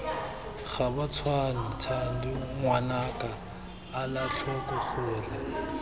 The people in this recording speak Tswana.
gabatshwane thando ngwanaka elatlhoko gore